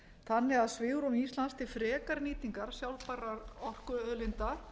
þannig að svigrúm íslands til frekari nýtingar sjálfbærra orkuauðlinda